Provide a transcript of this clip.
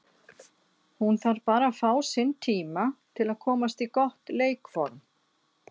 Hún þarf bara að fá sinn tíma til að komast í gott leikform.